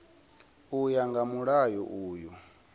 u ya nga mulayo uyu